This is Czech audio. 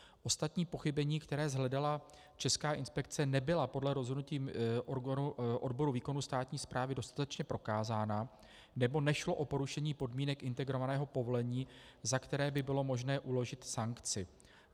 Ostatní pochybení, která shledala Česká inspekce, nebyla podle rozhodnutí odboru výkonu státní správy dostatečně prokázána nebo nešlo o porušení podmínek integrovaného povolení, za které by bylo možné uložit sankci.